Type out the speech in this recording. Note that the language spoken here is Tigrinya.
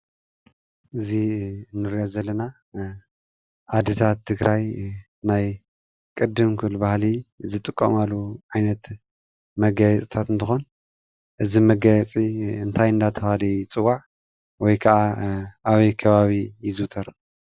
እዚ እንሪኦ ዘለና አዲታት ትግራይ ናይ ቅድም ክብል ባሀሊ ዝጥቀማሉ ዓይነት መጋየፅታተ እንትኮን እዚ መጋየፂ እንታይ እናተባህሊ ይፅዋዕ? ወይ ከዓ አበይ ከባቢ ይዝውተር?